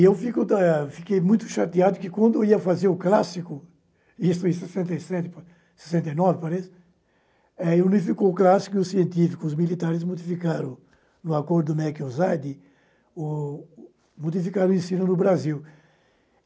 Eu fico eu fiquei muito chateado que, quando eu ia fazer o clássico, isso em sessenta e sete para sessenta e nove, parece, unificou o clássico e os científicos, os militares modificaram, no acordo do mec-usaid, o modificaram o ensino no Brasil.